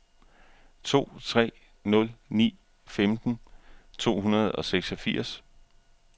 to tre nul ni femten to hundrede og seksogfirs